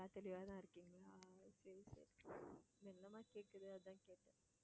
நல்லா தெளிவாதான் இருக்கீங்களா சரி சரி மெல்லமா கேக்குது அதான் கேட்டேன்